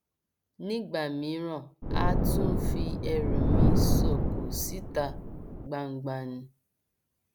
nígbà mìíràn àá tún fi ẹrù mi sóko síta gbangba ni